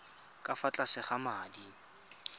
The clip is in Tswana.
ka fa tlase ga madi